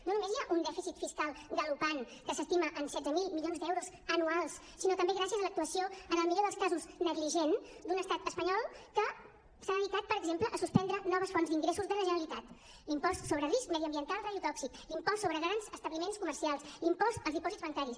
no només hi ha un dèficit fiscal galopant que s’estima en setze mil milions d’euros anuals sinó també gràcies a l’actuació en el millor dels casos negligent d’un estat espanyol que s’ha dedicat per exemple a suspendre noves fonts d’ingressos de la generalitat l’impost sobre risc mediambiental radiotòxic l’impost sobre grans establiments comercials l’impost als dipòsits bancaris